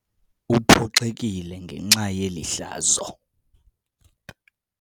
Uphoxekile ngenxa yeli hlazo.